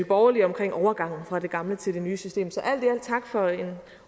borgerlige om overgangen fra det gamle til det nye system så alt tak for en